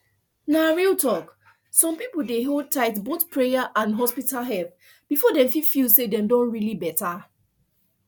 na real talk some people dey hold tight both prayer and hospital help before dem fit feel say dem don really better